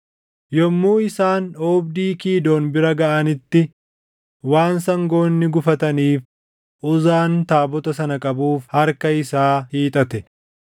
Yommuu isaan oobdii Kiidoon bira gaʼanitti waan sangoonni gufataniif Uzaan taabota sana qabuuf harka isaa hiixate.